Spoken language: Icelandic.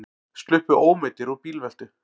Sluppu ómeiddir úr bílveltu